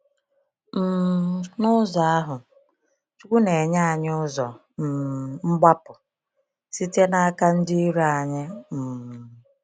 um N’ụzọ ahụ, Chukwu ‘na-enye anyị ụzọ um mgbapụ’ site n’aka ndị iro anyị. um